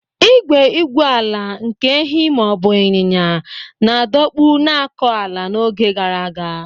Igwe igwu ala nke ehi ma ọ bụ ịnyịnya na-adọkpụ na-akọ ala n’oge gara aga.